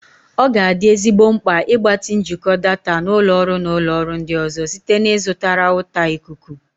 Ọ ga-adị ezigbo mkpa ịgbatị njikọ data na ụlọ ọrụ na ụlọ ọrụ ndị ọzọ site na ịzụta rawụta ikuku.